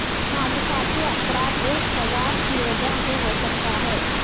حادثاتی اثرات ایک شگاف کی وجہ سے ہو سکتا ہے